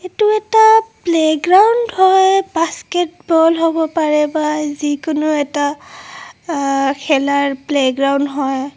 এইটো এটা playground হয় বাস্কেট বল হ'ব পাৰে বা যিকোনো এটা আ খেলাৰ প্লে গ্ৰাউণ্ড হয়.